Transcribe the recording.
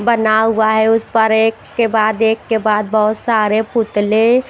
बना हुआ है उस पर एक के बाद एक के बाद बहोत सारे पुतले--